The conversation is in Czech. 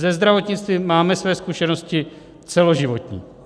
Se zdravotnictvím máme své zkušenosti celoživotní.